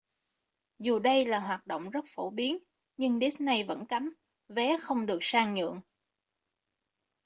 dù đây là hoạt động rất phổ biến nhưng disney vẫn cấm vé không được sang nhượng